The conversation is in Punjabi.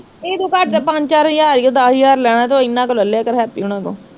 ਇਹਦੂ ਘੱਟ ਤਾਂ ਪੰਜ ਚਾਰ ਹਜ਼ਾਰ ਈ ਓ ਦੱਸ ਹਜ਼ਾਰ ਲੈਣਾ ਤੇ ਓਹ ਇਹਨਾਂ ਤੋਂ ਲੈ ਲਿਆ ਕਰ, ਹੈਪੀ ਹੁਣਾ ਤੋਂ